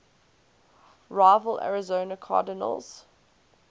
rival arizona cardinals